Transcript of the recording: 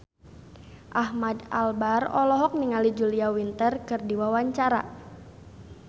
Ahmad Albar olohok ningali Julia Winter keur diwawancara